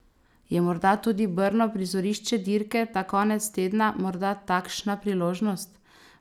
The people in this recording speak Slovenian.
Je morda tudi Brno, prizorišče dirke ta konec tedna morda takšna priložnost?